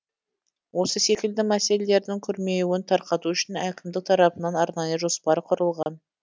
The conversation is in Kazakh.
осы секілді мәселелердің күрмеуін тарқату үшін әкімдік тарапынан арнайы жоспар құрылған